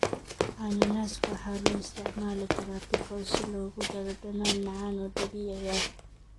Cananaaska waxaa loo isticmaali karaa pickles si loogu daro dhadhan macaan oo dabiici ah.